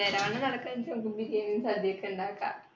നേരവണ്ണം നടക്കാൺചാ ബിരിയാണിയും സദ്യയൊക്കെ ഉണ്ടാക്ക